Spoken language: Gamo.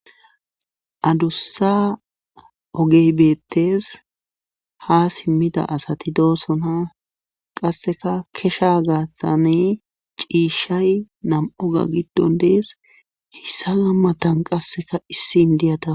Adussa oge beettes haa simmida asati doosona qassika kishaa gaathani ciishshay nam7uga giddon dees heyssa matan qassika issi inddiya dawus.